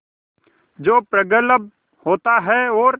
जो प्रगल्भ होता है और